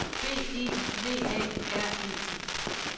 B E V A R E T